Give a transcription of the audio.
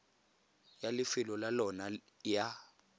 ya lefelo la lona ya